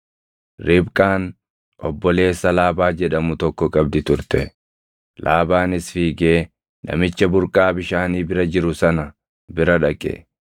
Ribqaan obboleessa Laabaa jedhamu tokko qabdi turte; Laabaanis fiigee namicha burqaa bishaanii bira jiru sana bira dhaqe.